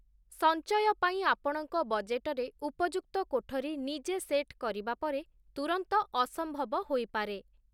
ସଞ୍ଚୟ ପାଇଁ ଆପଣଙ୍କ ବଜେଟରେ ଉପଯୁକ୍ତ କୋଠରୀ ନିଜେ ସେଟ୍ କରିବା ପରେ ତୁରନ୍ତ ଅସମ୍ଭବ ହୋଇପାରେ ।